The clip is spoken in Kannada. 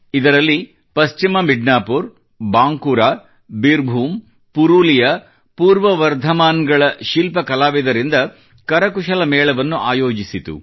ಇದರಲ್ಲಿ ಪಶ್ಚಿಮ ಮಿಡ್ನಾಪುರ ಬಾಂಕುರಾ ಬಿರ್ಭೂಮ್ ಪುರೂಲಿಯಾ ಪೂರ್ವ ವರ್ಧಮಾನ್ ಗಳ ಶಿಲ್ಪ ಕಲಾವಿದರಿಂದ ಕರಕುಶಲ ಮೇಳವನ್ನು ಆಯೋಜಿಸಲಾಯಿತು